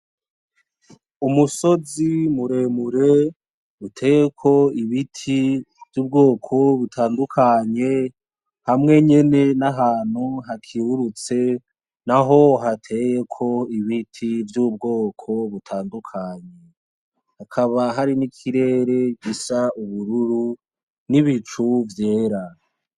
Umusozi muremure uteyeko ibiti vy'ubwoko butandukanye hamwe nyene n'ahantu hakerurutse naho hateyeko ibiti vy'ubwoko butandukanye, hakaba hari n'ikirere gisa ubururu n'ibicu vyera.